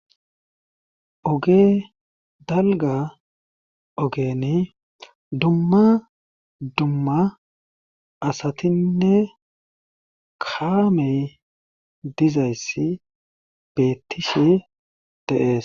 Oge dalga ogeni dumma dumma asatinne kaamey dizayssi beettishe deees